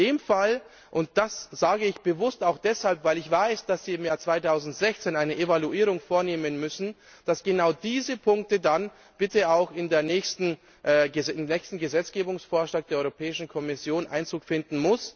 In dem Fall und das sage ich bewusst auch deshalb, weil ich weiß, dass Sie im Jahr 2016 eine Evaluierung vornehmen müssen müssen genau diese Punkte dann bitte auch im nächsten Gesetzgebungsvorschlag der Europäischen Kommission Einzug finden.